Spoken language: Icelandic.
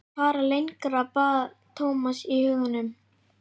Ekki fara lengra, bað Thomas í huganum.